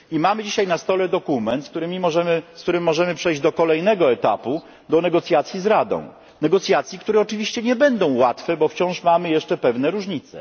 I mamy dzisiaj na stole dokument, z którym możemy przejść do kolejnego etapu do negocjacji z Radą, negocjacji, które oczywiście nie będą łatwe, bo wciąż mamy jeszcze pewne różnice.